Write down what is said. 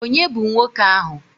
Ònye bụ nwoke ahụ?